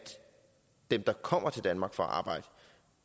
dem der kommer til danmark for